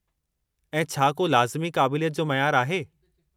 ऐं छा को लाज़िमी क़ाबिलियत जो मयार आहे?